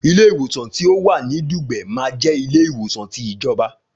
Ilé ìwòsan ti ọ wà ní Dùgbẹ̀ ma je ilé ìwòsan ti ìjọba